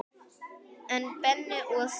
En Benni og Stína?